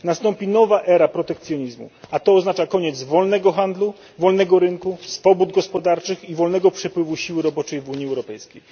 Nastąpi nowa era protekcjonizmu, a to oznacza koniec wolnego handlu, wolnego rynku, swobód gospodarczych i wolnego przepływu siły roboczej w Unii Europejskiej.